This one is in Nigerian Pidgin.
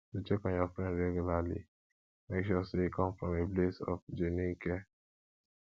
to check on your friend regularly make sure say e come from a place of genuine care